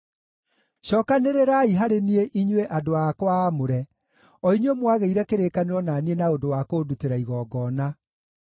“Cookanĩrĩrai harĩ niĩ inyuĩ andũ akwa aamũre, o inyuĩ mwagĩire kĩrĩkanĩro na niĩ na ũndũ wa kũndutĩra igongona.”